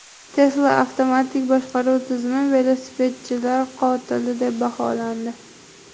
Tesla avtomatik boshqaruv tizimi velosipedchilar qotili deb baholandi.